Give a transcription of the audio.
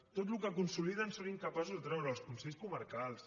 tot el que consoliden són incapaços de treure ho els consells comarcals